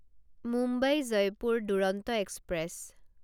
Mumbai Jaipur Duronto express